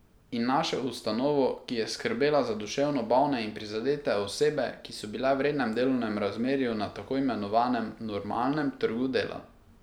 In našel ustanovo, ki je skrbela za duševno bolne in prizadete osebe, ki so bile v rednem delovnem razmerju na tako imenovanem normalnem trgu dela.